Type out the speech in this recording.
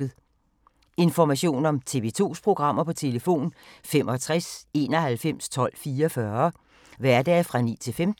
Information om TV 2's programmer: 65 91 12 44, hverdage 9-15.